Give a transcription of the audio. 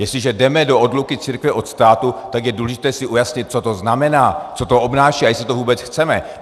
Jestliže jdeme do odluky církve od státu, tak je důležité si ujasnit, co to znamená, co to obnáší a jestli to vůbec chceme.